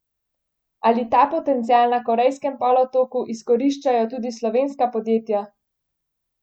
Ali ta potencial na Korejskem polotoku izkoriščajo tudi slovenska podjetja?